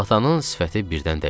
Atanın sifəti birdən dəyişdi.